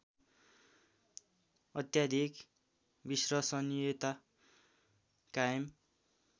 अत्याधिक विश्वसनियता कायम